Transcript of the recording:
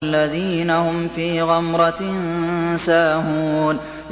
الَّذِينَ هُمْ فِي غَمْرَةٍ سَاهُونَ